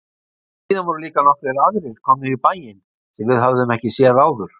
Síðan voru líka nokkrir aðrir komnir í bæinn sem við höfðum ekki séð áður.